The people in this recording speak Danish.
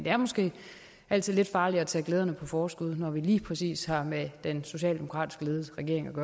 er måske altid lidt farligt at tage glæderne på forskud når vi lige præcis har at gøre med en socialdemokratisk ledet regering